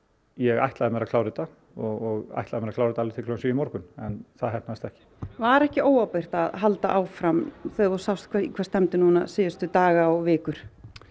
ég ætlaði mér að klára þetta og ætlaði mér að klára þetta alveg til klukkan sjö í morgun en það tókst ekki var ekki óábyrgt að halda áfram þegar þú sást í hvað stefndi núna síðustu daga og vikur